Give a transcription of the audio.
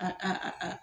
A